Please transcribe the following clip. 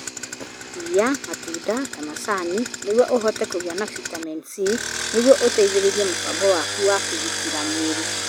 Iria matunda ta macani nĩguo ũhote kũgĩa na bitamini C nĩguo ũteithĩrĩrie mũbango waku wa kũgitĩra mwĩrĩ.